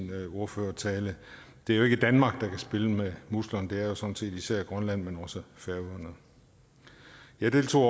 ordførertale det er jo ikke danmark der kan spille med musklerne det er jo sådan set især grønland men også færøerne jeg deltog